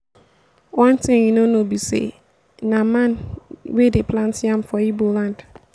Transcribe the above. one thing you no know be say na man wey dey plant yam for igbo land